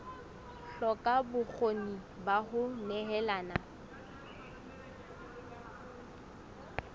hloka bokgoni ba ho nehelana